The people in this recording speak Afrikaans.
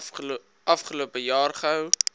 afgelope jaar gehou